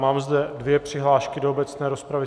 Mám zde dvě přihlášky do obecné rozpravy.